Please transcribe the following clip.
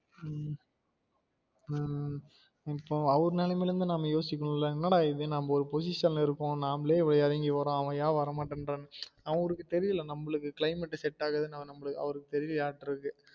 அஹ் இப்போ அவரு நிலைமையில் இருந்து நம்ம யோசிக்கணும் ல என்னடா இது நம்ம ஒரு position ல இருக்கோம் நாமளே இவ்ளோ எறங்கி வாரோம் அவன் என் வர மாட்டன்றான் அவருக்கு தெரியுதுல நம்மளுக்கு climate set ஆகாது நமளுக்கு அவருக்கு தெரியலயாட்டு இருக்கு